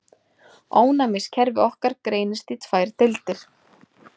Ónæmiskerfi okkar greinist í tvær deildir.